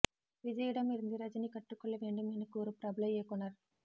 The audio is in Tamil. விஜயிடம் இருந்து ரஜினி கற்றுக்கொள்ள வேண்டும் என கூறும் பிரபல இயக்குனர்